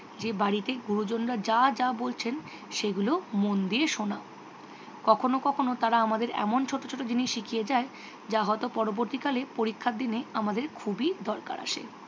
যে বাড়িতে গুরুজনরা যা যা বলছেন সেগুলো মন দিয়ে শোনা। কখনো কখনো তারা আমাদের এমন ছোট ছোট জিনিস শিখিয়ে যায় যা হয়ত পরবর্তীকালে পরীক্ষার দিনে আমাদের খুবই দরকার আসে।